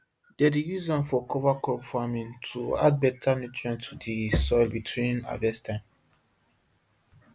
dem dey use am for cover crop farming to add better nutrient to the soil between harvest time